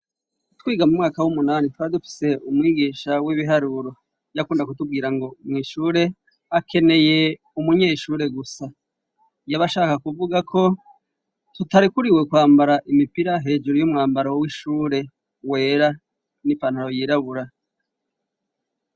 Twiga mu mwaka w'umunani twari dufise umwigisha w'ibiharuro yakunda kutubwira ngo mwishure akeneye umunyeshure gusa. Yaba ashaka kuvuga ko tutarekuriwe kwambara imipira, hejuru y'umwambaro w'ishure wera n'ipantaro yirabura.